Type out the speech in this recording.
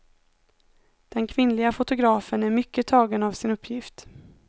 Den kvinnliga fotografen är mycket tagen av sin uppgift.